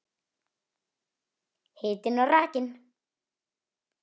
Hitinn og rakinn.